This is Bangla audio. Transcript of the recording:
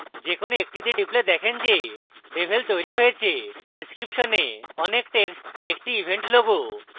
যে কোনো একটিতে টিপলে দেখেন যে devel তৈরী হয়েছেdescription a অনেক text একটি event logo